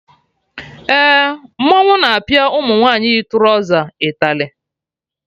Eh, mmọnwụ na apịa ụmụ nwaanyị yi trọza ịtalị